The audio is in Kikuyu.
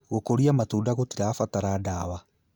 Gũkuria matunda gũtirabatara dawa